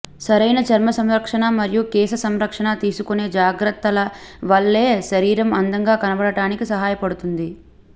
సరైన చర్మ సంరక్షణ మరియు కేశ సంరక్షణ తీసుకొనే జాగ్రత్తల వల్లే శరీరం అందంగా కనబడటానికి సహాయపడుతుంది